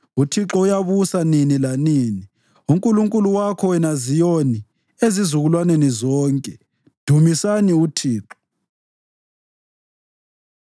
UThixo uyabusa nini lanini, uNkulunkulu wakho, wena Ziyoni, ezizukulwaneni zonke. Dumisani uThixo.